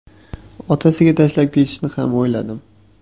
Otasiga tashlab ketishni ham o‘yladim.